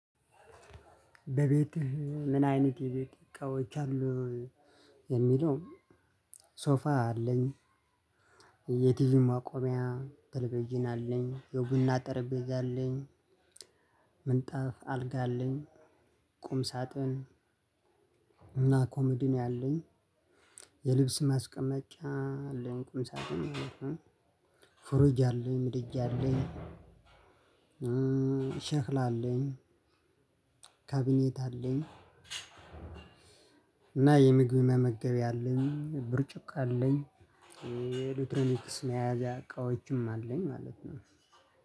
በቤትህ ምን? አይነት የቤት እቃዎች አሉህ የሚለው ሶፋ አለኝ። የቲቪ ማቆሚያ ተለቪዥን አለኝ የቡና ጠረጴዛ አለኝ። ምንጣፍ አልጋ አለኝ ቁም ሳጥን። እና ኮመዲኖ ያለኝ። የልብስ ማስቀመጫ አለኝ ቁምሳጥን ማለት ነው። ፍሩጅ አለኝ ምድጃ አለኝ። ሸክላሁ አለኝ። ካቢኔት አለኝ። እና የምግብ መመገብያ አለኝ ብርጭቆ አለኝ። የኤሌክትሮኒክስ መያዣ እቃዎችም አለኝ ማለት ነው።